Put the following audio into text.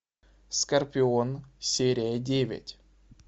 скорпион серия девять